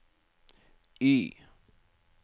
Y